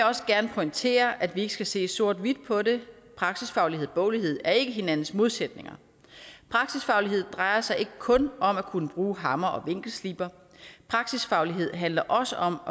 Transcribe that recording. også gerne pointere at vi ikke skal se sort hvidt på det praksisfaglighed og boglighed er ikke hinandens modsætninger praksisfaglighed drejer sig ikke kun om at kunne bruge hammer og vinkelsliber praksisfaglighed handler også om